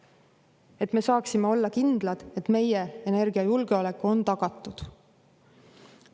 Et me saaksime olla kindlad, et meie energiajulgeolek on tagatud.